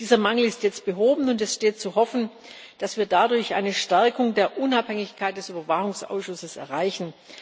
Dieser Mangel ist jetzt behoben, und es steht zu hoffen, dass wir dadurch eine Stärkung der Unabhängigkeit des Überwachungsausschusses erreichen.